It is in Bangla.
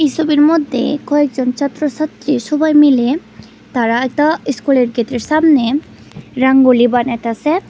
ছবির মধ্যে কয়েকজন ছাত্র-ছাত্রী সবাই মিলে তারা একটা ইস্কুলের গেটের সামনে রাঙ্গলি বানাইতাছে।